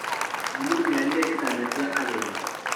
Mami nĩarire gĩtanda kia ageni.